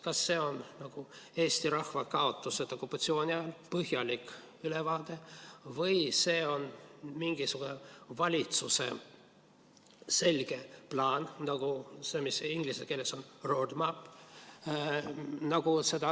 Kas see on nagu "Eesti rahva kaotused okupatsiooni ajal", põhjalik ülevaade, või see on valitsuse selge plaan, nagu see, mis inglise keeles on roadmap.